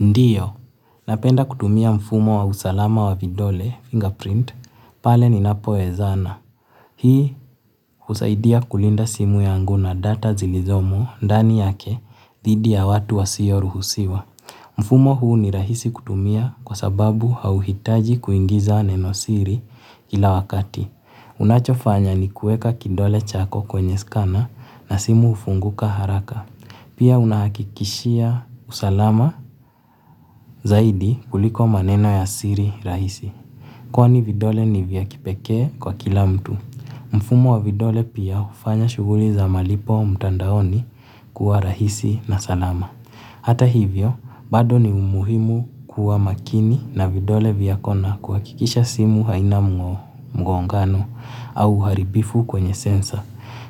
Ndiyo, napenda kutumia mfumo wa usalama wa vidole, fingerprint, pale ni napoezana. Hii usaidia kulinda simu yangu na data zilizomo, ndani yake, dhidi ya watu wa sio ruhusiwa. Mfumo huu ni rahisi kutumia kwa sababu hawitaji kuingiza nenosiri kila wakati. Unachofanya ni kueka kidole chako kwenye scanner na simu hufunguka haraka. Pia unahakikishia usalama zaidi kuliko maneno ya siri rahisi. Kwni vidole ni viya kipekee kwa kila mtu. Mfumo wa vidole pia ufanya shuguli za malipo mtandaoni kuwa rahisi na salama. Hata hivyo bado ni muhimu kuwa makini na vidole vyako na kuhakikisha simu haina mgongano au uharibifu kwenye sensor.